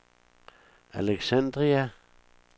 Alexandria